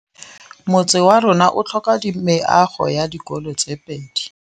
Motse warona o tlhoka meago ya dikolô tse pedi.